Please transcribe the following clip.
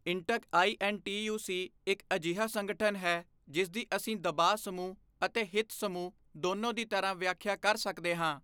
ਇੰਟਕ ਆਈਐੱਨਟੀਯੂਸੀ ਇੱਕ ਅਜਿਹਾ ਸੰਗਠਨ ਹੈ ਜਿਸਦੀ ਅਸੀਂ ਦਬਾਅ ਸਮੂਹ ਅਤੇ ਹਿੱਤ ਸਮੂਹ ਦੋਨੋਂ ਦੀ ਤਰਾਂ ਵਿਆਖਿਆ ਕਰ ਸਕਦੇ ਹਾਂ।